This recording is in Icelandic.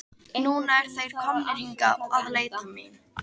Núna eru þeir komnir hingað að leita mín.